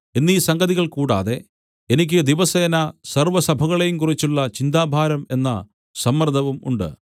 എന്നീ സംഗതികൾ കൂടാതെ എനിക്ക് ദിവസേന സർവ്വസഭകളെയും കുറിച്ചുള്ള ചിന്താഭാരം എന്ന സമ്മർദവും ഉണ്ട്